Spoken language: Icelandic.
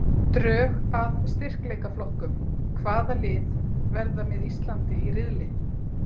Drög að styrkleikaflokkum- Hvaða lið verða með Íslandi í riðli?